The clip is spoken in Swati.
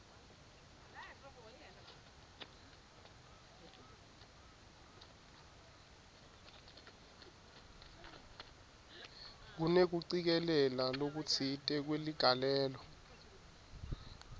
kunekucikelela lokutsite kweligalelo